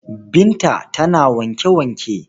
Binta tana wanke-wanke.